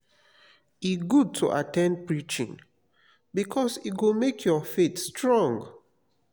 e good to at ten d preaching bikus e go mek yur faith strong.